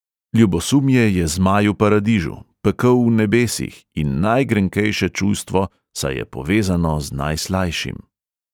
Ljubosumje je zmaj v paradižu, pekel v nebesih in najgrenkejše čustvo, saj je povezano z najslajšim.